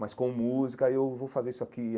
mas com música, aí eu vou fazer isso aqui.